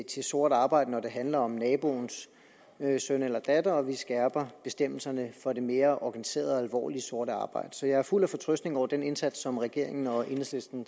til sort arbejde når det handler om naboens søn eller datter og vi skærper bestemmelserne for det mere organiserede og alvorlige sorte arbejde så jeg er fuld af fortrøstning over den indsats som regeringen og enhedslisten